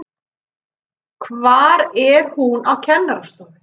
Hvað er hún á kennarastofu?